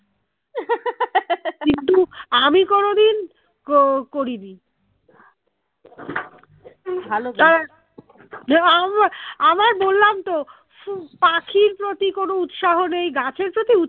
কিন্তু আমি কোনোদিন ককরিনি আমায় বললাম তো পাখির প্রতি কোনো উৎসাহ নেই গাছের প্রতি